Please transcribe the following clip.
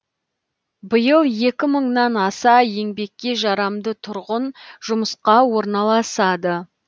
биыл екі мыңнан аса еңбекке жарамды тұрғын жұмысқа орналасады